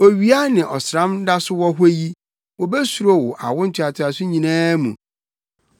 Owia ne ɔsram da so wɔ hɔ yi wobesuro wo awo ntoatoaso nyinaa mu.